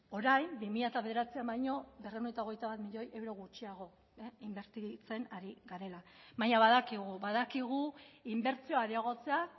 orain bi mila bederatzian baino berrehun eta hogeita bat milioi euro gutxiago inbertitzen ari garela baina badakigu badakigu inbertsioa areagotzea